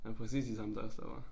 Det var præcis de samme dørstoppere